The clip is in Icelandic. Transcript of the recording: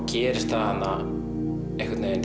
gerist það